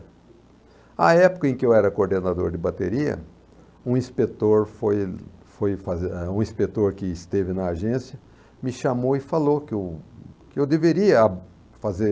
A época em que eu era coordenador de bateria, um inspetor foi foi fazer ah, o inspetor que esteve na agência me chamou e falou que eu que eu deveria fazer...